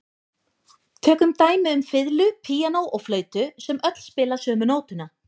Tökum dæmi um fiðlu, píanó og flautu sem öll spila sömu nótuna.